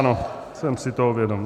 Ano, jsem si toho vědom.